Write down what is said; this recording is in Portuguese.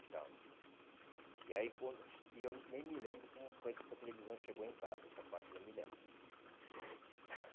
Então, e aí quando, e eu nem me lembro como foi que essa televisão chegou em casa, essa parte eu não me lembro.